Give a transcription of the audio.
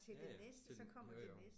Ja ja til jo jo